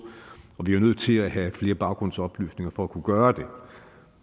og vi er nødt til at have flere baggrundsoplysninger for at kunne gøre det